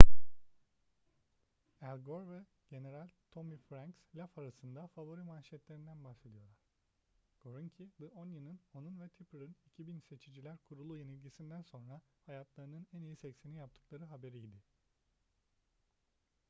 al gore ve general tommy franks laf arasında favori manşetlerinden bahsediyorlar gore'unki the onion'un onun ve tipper'ın 2000 seçiciler kurulu yenilgisinden sonra hayatlarının en iyi seksini yaptıkları haberiydi